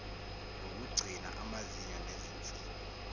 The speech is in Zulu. ngokugcina amazinyo nezinsini